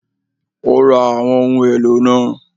Ó ra àwọn ohun èlò náà